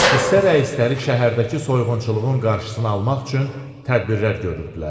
Hissə rəisləri şəhərdəki soyğunçuluğun qarşısını almaq üçün tədbirlər görürdülər.